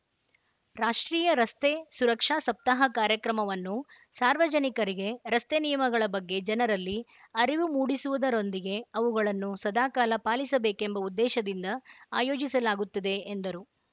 ರಾಷ್ಟ್ರೀಯ ರಸ್ತೆ ಸುರಕ್ಷಾ ಸಪ್ತಾಹ ಕಾರ್ಯಕ್ರಮವನ್ನು ಸಾರ್ವಜನಿಕರಿಗೆ ರಸ್ತೆ ನಿಯಮಗಳ ಬಗ್ಗೆ ಜನರಲ್ಲಿ ಅರಿವು ಮೂಡಿಸುವುದರೊಂದಿಗೆ ಅವುಗಳನ್ನು ಸದಾ ಕಾಲ ಪಾಲಿಸಬೇಕೆಂಬ ಉದ್ದೇಶದಿಂದ ಆಯೋಜಿಸಲಾಗುತ್ತದೆ ಎಂದರು